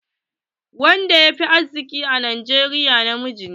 Wanda yafi arziƙi a Najeriya na miji ne.